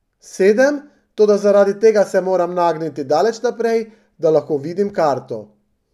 Sedem, toda zaradi tega se moram nagniti daleč naprej, da lahko vidim karto.